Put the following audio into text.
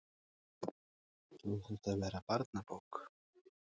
Á þetta að verða barnabók?